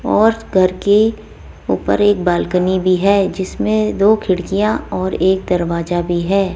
और घर के ऊपर एक बालकनी भी है जिसमें दो खिड़कियां और एक दरवाजा भी है।